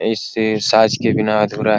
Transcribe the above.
इस साज के बिना अधूरा --